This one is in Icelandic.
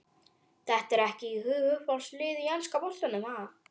Dettur ekkert í hug Uppáhalds lið í enska boltanum?